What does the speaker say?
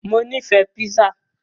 Mo nífẹ̀ẹ́ pizza.